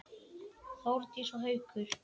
Þórdís og Haukur.